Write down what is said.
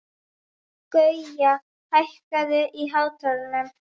Gauja, hækkaðu í hátalaranum.